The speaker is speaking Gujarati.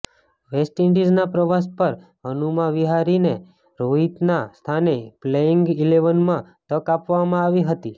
વેસ્ટ ઈન્ડિઝના પ્રવાસ પર હનુમા વિહારીને રોહિતના સ્થાને પ્લેઇંગ ઇલેવનમાં તક આપવામાં આવી હતી